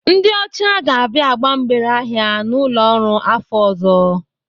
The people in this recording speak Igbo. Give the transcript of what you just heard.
Ndị ọcha ga-abịa agba mgbere ahịa n'ụlọ ọrụ afọ ọzọ.